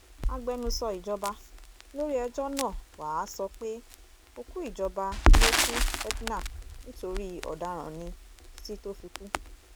agbẹnusọ ìjọba lórí ẹjọ́ náà wàá sọ pé òkú ìjọba lókú edna nítorí ọ̀daràn ní títí tó fi kú